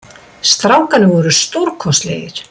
Strákarnir voru stórkostlegir